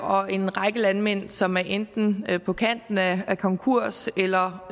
og en række landmænd som enten er på kanten af konkurs eller